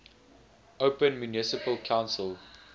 open municipal council